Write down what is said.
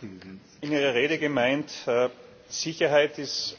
Sie haben in Ihrer Rede gemeint, Sicherheit ist